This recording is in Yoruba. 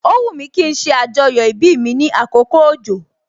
O wumi kí n ṣe ajoyo ibi mi ní àkókò òjò